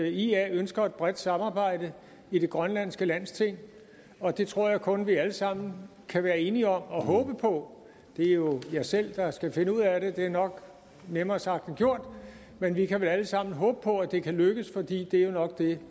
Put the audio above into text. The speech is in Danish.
at ia ønsker et bredt samarbejde i det grønlandske landsting og det tror jeg kun at vi alle sammen kan være enige om og håbe på det er jo jer selv der skal finde ud af det det er nok nemmere sagt end gjort men vi kan vel alle sammen håbe på at det kan lykkes for det er jo nok det